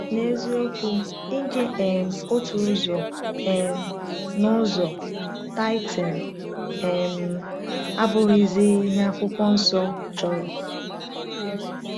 N’eziokwu, inye um otu ụzọ um n’ụzọ (tithing) um abụghịzi ihe Akwụkwọ Nsọ chọrọ.